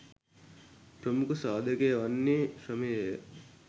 ප්‍රමුඛ සාධකය වන්නේ ශ්‍රමය ය